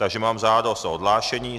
Takže mám žádost o odhlášení.